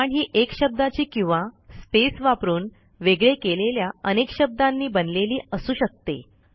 command ही एक शब्दाची किंवा स्पेस वापरून वेगळे केलेल्या अनेक शब्दांनी बनलेली असू शकते